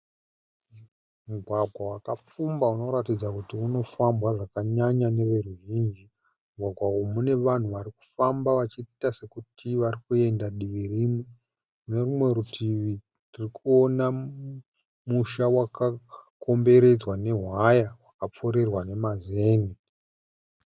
Mugwagwa wakapfumba unoratidza kuti unofambwa zvakanyanya neveruzhinji. Mugwagwa uyu une vanhu vari kufamba vachiita sekuti vari kuenda kudivi rimwe. Kune rutivi ndiri kuona musha wakakomberedzwa newaya wakapfurirwa nemazen'e.